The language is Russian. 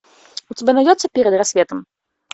у тебя найдется перед рассветом